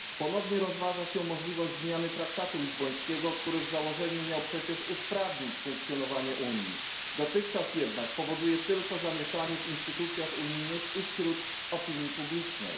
Ponownie rozważa się możliwość zmiany traktatu lizbońskiego, który w założeniu miał przecież usprawnić funkcjonowanie Unii, dotychczas jednak powoduje tylko zamieszanie w instytucjach unijnych i wśród opinii publicznej.